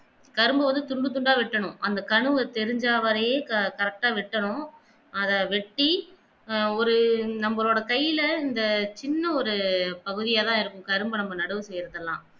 கரும்பு வந்து துண்டு துண்டா வெட்டணும் அந்த கணுவ தெரிஞ்ச வரையே correct வெட்டணும் அத வெட்டி ஒரு நம்மளோட கைல அந்த சின்ன ஒரு பகுதியா தான் இருக்கும் கரும்பு அளவு நடுவுக்கு இருக்கலாம்